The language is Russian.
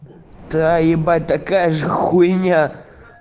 да ебать такая же хуйня